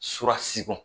Fura sigi ko